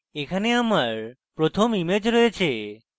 এখানে আমার প্রথম image রয়েছে